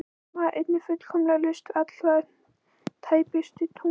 Það var einnig fullkomlega laust við alla tæpitungu.